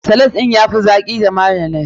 Salad ɗin ya fi daɗi da mayonnaise.